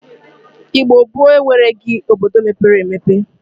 Igbo gboo enwereghi obodo mepere emepe.